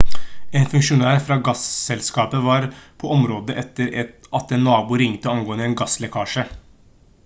en funksjonær fra gasselskapet var på området etter at en nabo ringte angående en gasslekkasje